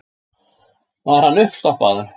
Var hann uppstoppaður?